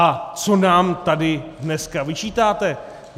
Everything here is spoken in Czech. A co nám tady dneska vyčítáte?